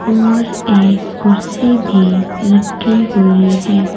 और एक कुर्सी भी रखी हुई हैं।